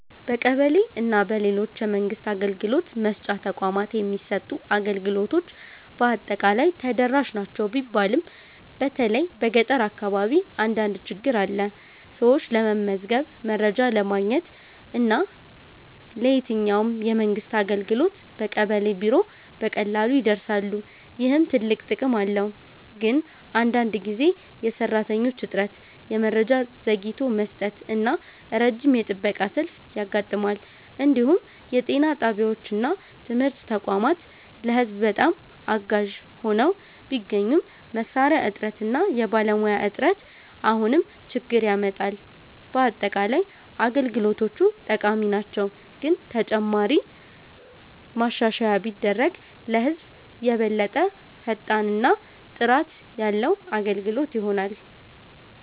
በቀበሌ እና በሌሎች የመንግስት አገልግሎት መስጫ ተቋማት የሚሰጡ አገልግሎቶች በአጠቃላይ ተደራሽ ናቸው ቢባልም በተለይ በገጠር አካባቢ አንዳንድ ችግኝ አለ። ሰዎች ለመመዝገብ፣ ለመረጃ ማግኘት እና ለየትኛውም የመንግስት አገልግሎት በቀበሌ ቢሮ በቀላሉ ይደርሳሉ፣ ይህም ትልቅ ጥቅም ነው። ግን አንዳንድ ጊዜ የሰራተኞች እጥረት፣ የመረጃ ዘግይቶ መስጠት እና ረጅም የጥበቃ ሰልፍ ያጋጥማል። እንዲሁም የጤና ጣቢያዎች እና ትምህርት ተቋማት ለህዝብ በጣም አጋዥ ሆነው ቢገኙም መሳሪያ እጥረት እና የባለሙያ እጥረት አሁንም ችግኝ ያመጣል። በአጠቃላይ አገልግሎቶቹ ጠቃሚ ናቸው፣ ግን ተጨማሪ ማሻሻያ ቢደረግ ለህዝብ የበለጠ ፈጣን እና ጥራት ያለ አገልግሎት ይሆናል።